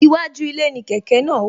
Iwájú ilé ni kẹ̀kẹ́ náà wà